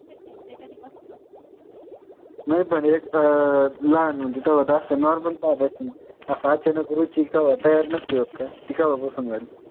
main म्हणजे अं लाहान होती तवा जास्त normal पाहत अशील असं अचानक रुची कवा तयार नसती होत काय? ती कवा पासून झाली?